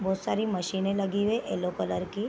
बहुत सारी मशीनें लगी हुई है येलो कलर की।